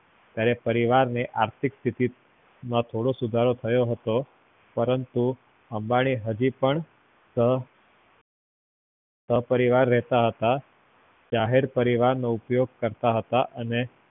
ત્યારે પરિવાર ને આર્થિક સ્તીથી માં થોડોક સુધારો થયો હતો પરંતુ અંબાની હજી પણ સહ સહપરિવાર રેહતા હતા નોકરી કરતા હતા, જાહેર પરિવહનનો ઉપયોગ કરતા હતા અને